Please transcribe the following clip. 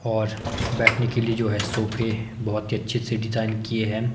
और बैठने के लिए जो है सोफे बहुत ही अच्छे से डिजाइन किए है।